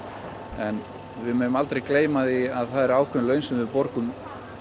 en við megum aldrei gleyma því að það eru ákveðin laun sem við borgum